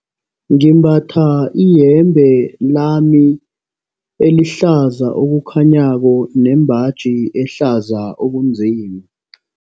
Ngimbatha iyembe lami elihlaza okukhanyako nembaji ehlaza okunzima.